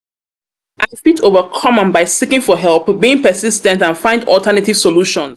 i fit overcome am by seeking for help being persis ten t and find alternative and find alternative solutions.